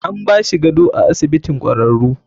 An bashi gado a asibitin kwararu.